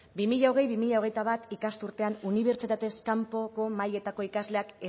bi mila hogei bi mila hogeita bat ikasturtean unibertsitatez kanpoko mailetako ikasleak